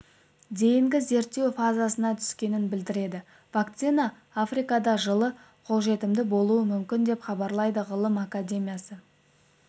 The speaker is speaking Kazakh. дейінгі зерттеу фазасына түскенін білдіреді вакцина африкада жылы қолжетімді болуы мүмкін деп хабарлады ғылым академиясы